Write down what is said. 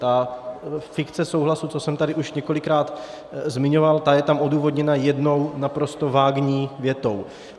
A fikce souhlasu, to jsem tady už několikrát zmiňoval, ta je tam odůvodněna jednou naprosto vágní větou.